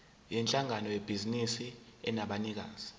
yinhlangano yebhizinisi enabanikazi